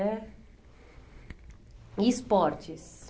é... E esportes?